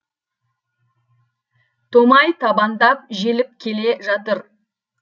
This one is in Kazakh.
томай табандап желіп келе жатыр